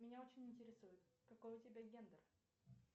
меня очень интересует какой у тебя гендер